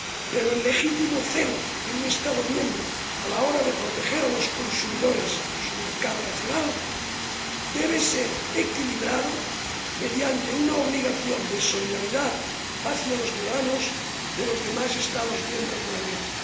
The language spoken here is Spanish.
Pero el legítimo celo de un Estado miembro a la hora de proteger a los consumidores de su mercado nacional debe equilibrarse mediante una obligación de solidaridad hacia los ciudadanos de los demás Estados miembros de la Unión.